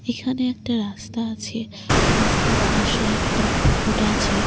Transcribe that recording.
এখানে একটা রাস্তা আছে রাস্তার পাশে একটা বোর্ড আছে।